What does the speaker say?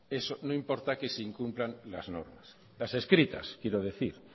eso no importa que se incumplan las normas las escritas quiero decir